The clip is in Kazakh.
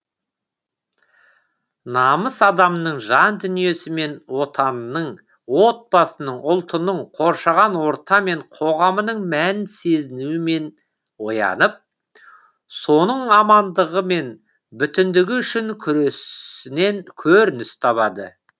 намыс адамның жан дүниесі мен отанының отбасының ұлтының қоршаған орта мен қоғамының мәнін сезінуімен оянып соның амандығы мен бүтіндігі үшін күресінен көрініс табады